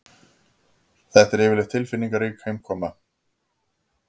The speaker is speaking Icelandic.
Þetta er yfirleitt tilfinningarík heimkoma